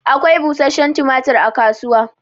Akwai bushenshen tumatur a kasuwa.